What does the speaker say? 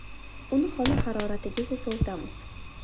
Uni xona haroratigacha sovutamiz.